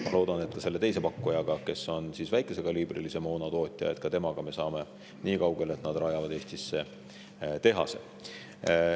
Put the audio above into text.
Ma loodan, et ka selle teise pakkujaga, kes on väikesekaliibrilise moona tootja, me saame nii kaugele, et nad rajavad Eestisse tehase.